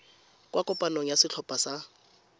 kwa kopanong ya setlhopha sa